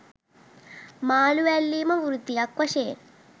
මාලු ඇල්ලීම වෘත්තියක් වශයෙන්